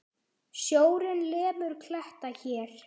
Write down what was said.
Sjórinn lemur kletta hér.